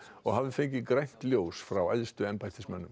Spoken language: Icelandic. og hafi fengið grænt ljós frá æðstu embættismönnum